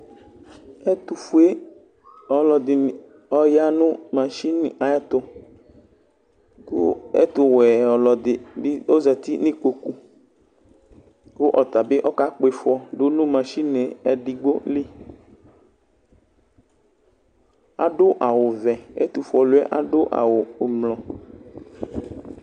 Ɛtʋfue ɔlɔdi ni aya nʋ masini ayɛtʋ kʋ ɛtʋ wɛ ɔlɔdi bi zati nʋ ikpokʋ kʋ ɔtabi kakpifɔ dʋ nʋ masini ɛdigbo li Adʋ awʋ vɛ, ɛtʋfue lʋɛ adʋ awʋ ʋblʋɔ